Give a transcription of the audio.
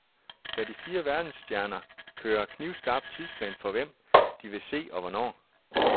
De fire verdensstjerner kører knivskarp tidsplan for hvem, de vil se og hvornår.